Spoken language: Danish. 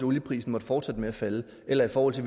olieprisen måtte fortsætte med at falde eller i forhold til